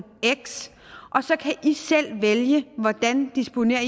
x og så kan i selv vælge hvordan i disponerer